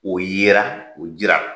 O yera o jirala.